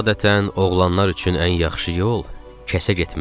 Adətən oğlanlar üçün ən yaxşı yol kəsə getməkdir.